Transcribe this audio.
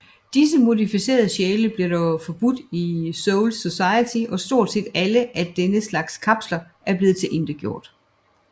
Disse modificerede sjæle blev dog forbudt i Soul Society og stort set alle af denne slags kapsler er blevet tilintetgjort